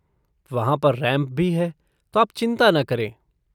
वहाँ पर रैम्प भी है, तो आप चिंता न करें।